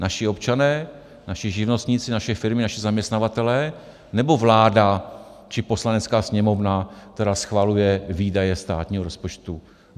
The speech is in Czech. Naši občané, naši živnostníci, naše firmy, naši zaměstnavatelé, nebo vláda či Poslanecká sněmovna, která schvaluje výdaje státního rozpočtu?